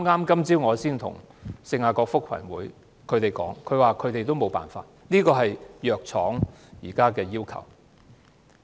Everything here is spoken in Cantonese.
今早我才與聖雅各福群會商討，他們回應指沒有辦法，這是藥廠現時的要求。